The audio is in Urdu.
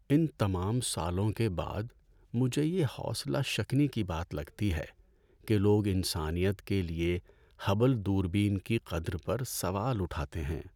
ان تمام سالوں کے بعد، مجھے یہ حوصلہ شکنی کی بات لگتی ہے کہ لوگ انسانیت کے لیے ہبل دوربین کی قدر پر سوال اٹھاتے ہیں۔